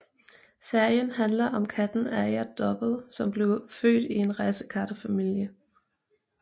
Serien handler om katten Aja Dobbo som bliver født i en racekattefamilie